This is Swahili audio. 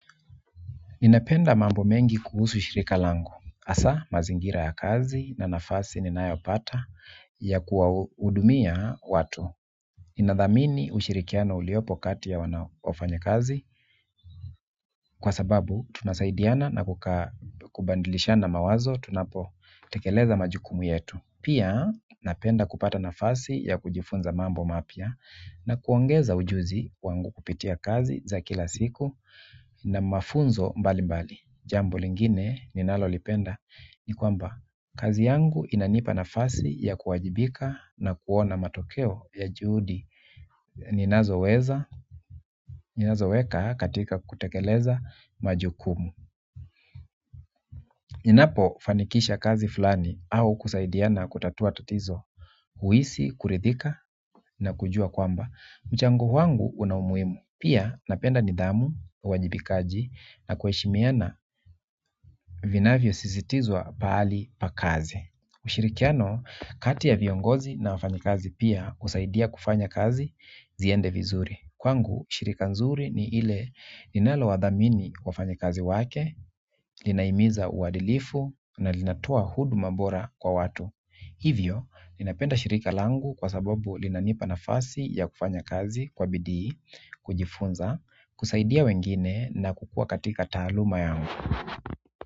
Ninapenda mambo mengi kuhusu shirika langu hasa, mazingira ya kazi na nafasi ninayopata ya kuwahudumia watu. Ninadhamini ushirikiano uliopo kati ya wanaofanya kazi kwa sababu tunasaidiana na kubadilishana mawazo tunapotekeleza majukumu yetu. Pia napenda kupata nafasi ya kujifunza mambo mapya na kuongeza ujuzi wangu kupitia kazi za kila siku na mafunzo mbalimbali jambo lingine ninalolipenda ni kwamba kazi yangu inanipa nafasi ya kuwajibika na kuona matokeo ya juhudi ninazoweka katika kutekeleza majukumu. Ninapofanikisha kazi fulani au kusaidiana kutatua tatizo huhisi, kuridhika na kujua kwamba. Mchango wangu una umuhimu. Pia napenda nidhamu, uwajibikaji na kuheshimiana vinavyosisitizwa pahali pa kazi. Ushirikiano kati ya viongozi na wafanyikazi pia husaidia kufanya kazi ziende vizuri kwangu, shirika nzuri ni ile linalowadhamini wafanyakazi wake, linahimiza uadilifu na linatoa huduma bora kwa watu. Hivyo, ninapenda shirika langu kwa sababu linanipa nafasi ya kufanya kazi kwa bidi, kujifunza, kusaidia wengine na kukua katika taaluma yangu.